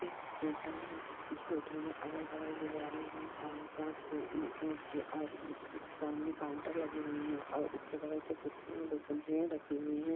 एक होटल है जिस होटल में अगल-बगल दीवारें हैं और कांच के कांच के और सामने काउंटर लगे हुई हैं और उसके बगल से कुर्सी दो कुर्सीयाँ रखी हुई हैं।